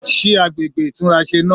Sí àgbègbè ìtúnrasè náà?